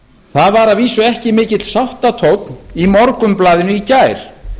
það var að vísu ekki mikill sáttatónn í morgunblaðinu í gær